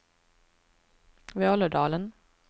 Vålådalen